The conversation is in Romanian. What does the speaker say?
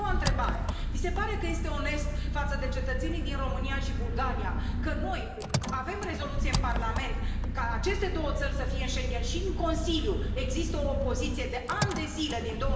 Și a doua întrebare. Vi se pare că este onest față de cetățenii din România și Bulgaria ca noi să avem o rezoluție în Parlament ca aceste două țări să fie Schengen și în Consiliu există o opoziție de ani de zile, din